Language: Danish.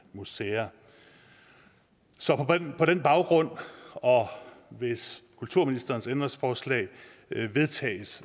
museer så på den baggrund og hvis kulturministerens ændringsforslag vedtages